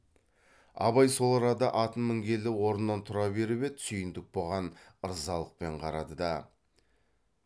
абай сол арада атын мінгелі орнынан тұра беріп еді сүйіндік бұған ырзалықпен қарады да